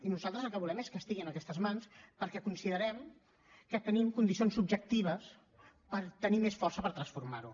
i nosaltres el que volem és que estigui en aquestes mans perquè considerem que tenim condicions objectives per tenir força per transformar ho